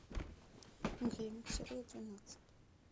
гримм серия двенадцать